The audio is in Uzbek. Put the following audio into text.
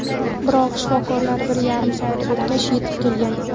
Biroq shifokorlar bir yarim soat o‘tgach yetib kelgan.